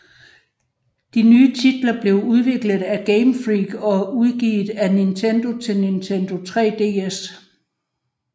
De nye titler blev udviklet af Game Freak og udgivet af Nintendo til Nintendo 3DS